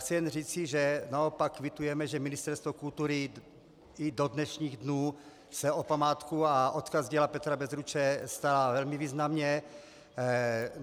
Chci jen říci, že naopak kvitujeme, že Ministerstvo kultury i do dnešních dnů se o památku a odkaz díla Petra Bezruče stará velmi významně.